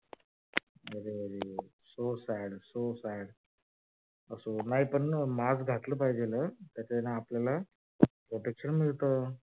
so sad so sad असो नाही पण mask घातल पाहिजे हम्म त्याच्यान आपल्याला protection मिळत.